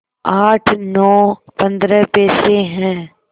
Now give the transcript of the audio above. आठ नौ पंद्रह पैसे हैं